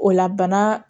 O la bana